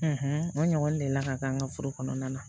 o ɲɔgɔn deli la ka k'an ka furu kɔnɔna na